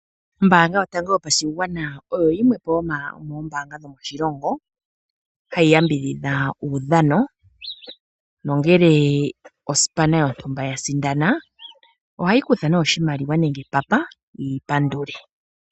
Ombaanga yotango yopashigwana oyo yimwe yomoombanga dhomoshilongo, hayi yambidhidha oshilongo nongele ongundu yontumba yasindana, ohayi kutha oshimaliwa nenge epapa yi pandule.